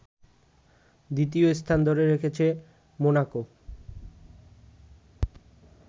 দ্বিতীয় স্থান ধরে রেখেছে মোনাকো